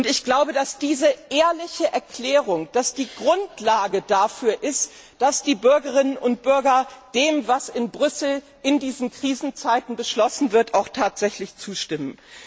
Ich glaube, dass diese ehrliche Erklärung die Grundlage dafür ist, dass die Bürgerinnen und Bürger dem, was in Brüssel in diesen Krisenzeiten beschlossen wird, auch tatsächlich zustimmen.